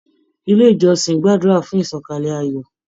Ilé ìjọsìn gbàdúrà fún ìṣọ̀kalẹ̀ ayọ.